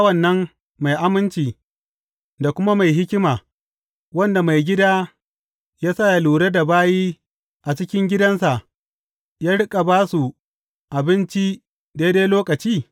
Wane ne bawan nan mai aminci da kuma mai hikima, wanda maigida ya sa yă lura da bayi a cikin gidansa, yă riƙa ba su abinci a daidai lokaci?